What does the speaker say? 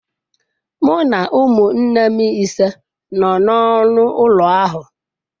Mụ na ụmụnne m ise nọ n'ọnụ ụlọ ahụ.